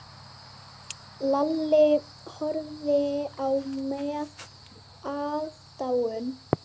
Lalli horfði á með aðdáun.